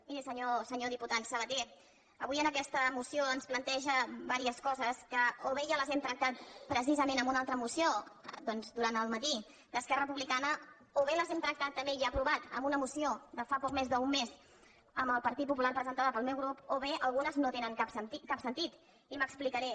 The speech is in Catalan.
miri senyor diputat sabaté avui en aquesta moció ens planteja diverses coses que o bé ja les hem tractat precisament en una altra moció doncs durant el matí d’esquerra republicana o bé les hem tractat també i aprovat amb una moció de fa poc més d’un mes amb el partit popular presentada pel meu grup o bé al·gunes no tenen cap sentit i m’explicaré